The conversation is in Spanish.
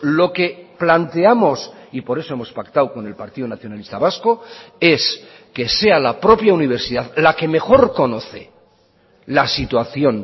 lo que planteamos y por eso hemos pactado con el partido nacionalista vasco es que sea la propia universidad la que mejor conoce la situación